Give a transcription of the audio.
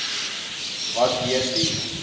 wat deur die